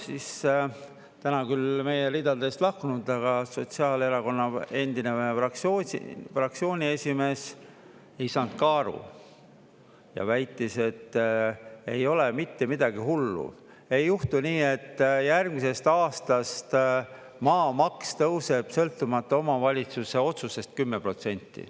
Siis täna küll meie ridadest lahkunud, aga sotsiaalerakonna endine fraktsiooni esimees ei saanud ka aru ja väitis, et ei ole mitte midagi hullu, ei juhtu nii, et järgmisest aastast maamaks tõuseb, sõltumata omavalitsuse otsusest, 10%.